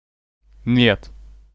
нет